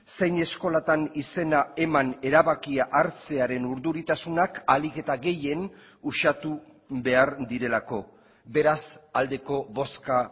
zein eskolatan izena eman erabakia hartzearen urduritasunak ahalik eta gehien uxatu behar direlako beraz aldeko bozka